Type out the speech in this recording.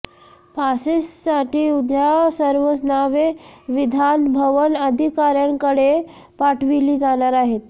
पासेससाठी उद्या सर्व नावे विधान भवन अधिकार्यांकडे पाठविली जाणार आहेत